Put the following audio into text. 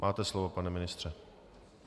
Máte slovo, pane ministře.